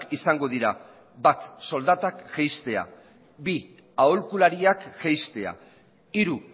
izango dira bat soldatak jaistea bi aholkulariak jaistea hiru